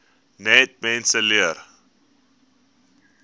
net mense leer